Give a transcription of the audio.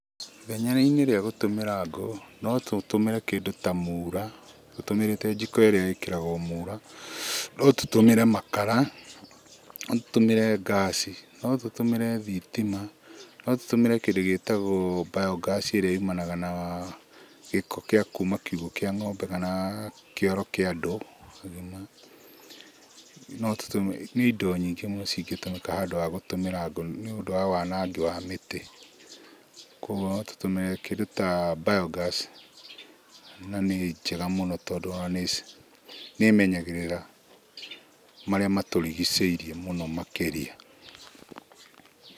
Ithenya-inĩ rĩa gũtũmĩra ngũ, no tũtũmĩre kĩndũ ta mura, tũtũmĩrĩte jiko ĩrĩa ĩkĩragwo mura, no tũtũmĩre makara, no tũtũmĩre ngaci, no tũtũmĩre thitima, no tũtũmĩre kĩndũ gĩtagũo biogas ĩrĩa yumanaga na gĩko gĩa kuma kiugũ kĩa ng'ombe kana kĩoro kĩa andũ agima. No tũtũmĩre, nĩ indo nyingĩ mũno cingĩtũmĩka handũ ha gũtũmĩra ngũ nĩũndũ wa wanangi wa mĩtĩ. Kuoguo no tũtũmĩre kĩndũ ta biogas, na nĩ njega mũno tondũ ona nĩ ĩmenyagĩrĩra marĩa matũrigicĩirie mũno makĩria.